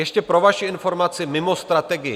Ještě pro vaši informaci mimo strategii.